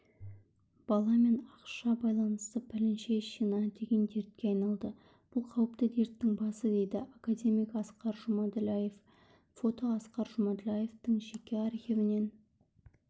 бала мен ақша байланысы пәленшещина деген дертке айналды бұл қауіпті дерттің басы дейді академик асқар жұмаділдаев фото асқар жұмаділдаевтың жеке архивінен